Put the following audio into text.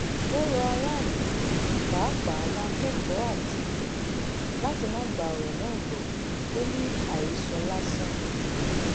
ó rọ aráàlú pàápàá àwọn akẹ́kọ̀ọ́ àti òbí láti má gba ọ̀rọ̀ náà gbọ́ ò ní àhesọ lásán ni